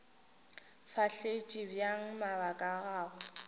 fahletše bjang mabaka a gagwe